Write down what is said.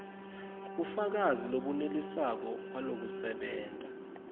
bufakazi lobunelisako balokusebenta